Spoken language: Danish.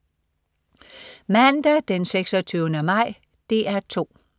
Mandag den 26. maj - DR 2: